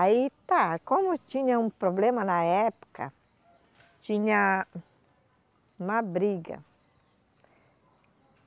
Aí, tá, como tinha um problema na época, tinha uma briga.